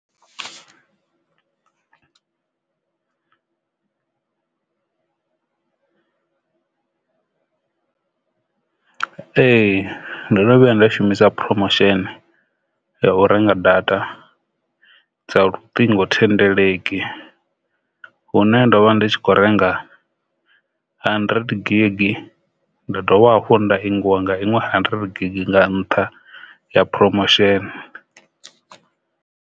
Ee, ndo no vhuya nda shumisa promotion ya u renga data dza luṱingothendeleki hune ndo vha ndi tshi kho renga hundred gig nda dovha hafhu nda ingwa nga iṅwe hundred gig nga nṱha ya promotion.